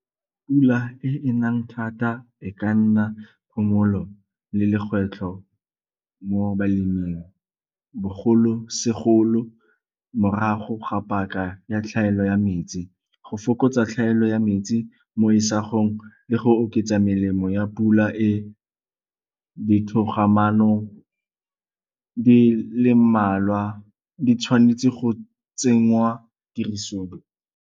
Pula e e nang thata e ka nna phomolo le lekgwetlho mo baleming bogolo segolo morago ga paka ya tlhaelo ya metsi. Go fokotsa tlhaelo ya metsi mo isagong le go oketsa melemo ya pula e ditogamaano di le mmalwa di tshwanetse go tsenngwa tirisong.